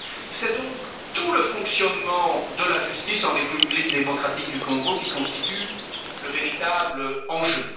C'est donc tout le fonctionnement de la justice en République démocratique du Congo qui constitue le véritable enjeu.